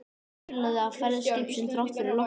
Það kulaði af ferð skipsins þrátt fyrir lognið.